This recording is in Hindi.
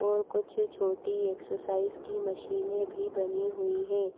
और कुछ छोटी एक्सरसाइज की मशीनें भी बनी हुई है।